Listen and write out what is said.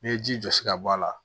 N'i ye ji jɔsi ka bɔ a la